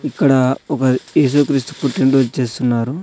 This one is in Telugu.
ఇక్కడ ఒకరు ఏసుక్రీస్తు పుట్టినరోజు చేస్తున్నారు.